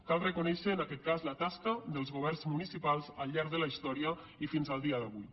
cal reconèixer en aquest cas la tasca dels governs municipals al llarg de la història i fins al dia d’avui